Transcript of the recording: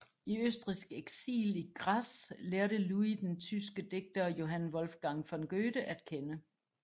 I østrigsk eksil i Graz lærte Louis den tyske digter Johann Wolfgang von Goethe at kende